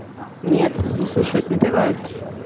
нет не слушают напевают